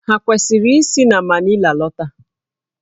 Ha kwesịrị isi na Manila lọta?